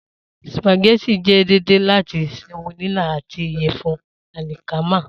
Spaghettì jẹ deede lati semolina ati iyẹfun alikama.